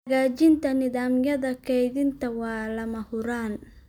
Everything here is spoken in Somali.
Hagaajinta nidaamyada kaydinta waa lama huraan.